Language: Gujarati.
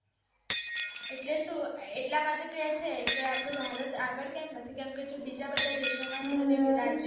એટલે સુ એટલા માટે કે છે કે કે અપ્ડું ભારત આગળ કેમ નથી કેમ કે જો બીજા બધા દેશો માં